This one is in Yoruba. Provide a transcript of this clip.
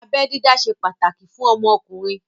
Abẹ dídá ṣe pàtàkì fún ọmọkùnrin